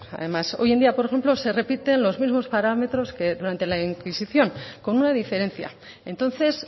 además hoy en día por ejemplo se repiten los mismos parámetros que durante la inquisición con una diferencia entonces